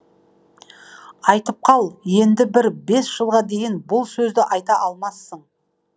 айтып қал енді бір бес жылға дейін бұл сөзді айта алмассың